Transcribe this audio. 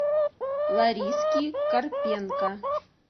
лариски карпенко